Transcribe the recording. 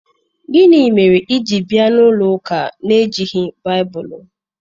Gini mere i ji bia n'ulo uka n'enweghi Baibulu?